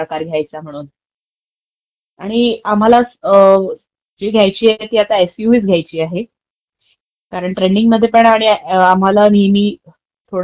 म्हणजे आम्हाला गाडी सूट होईल मला वाटंत की..... ती आता सेदानचं असेल, सॉरी एक्स्यूव्ही असेल. तर काय काय कागदपत्र लागतात, माहिती असेल तर सांगू शकतोस का?